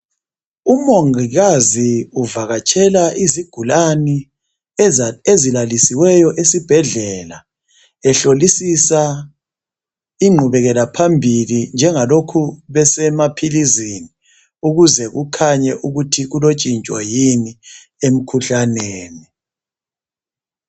Umongikazi uvakatshela izigulani ezilalisiweyo esibhedlela ehlolisisa ingqubekela phambili njengalokhu besemaphilizini ukuze kukhanye ukuthi kulotshintsho yini emkhuhlaneni.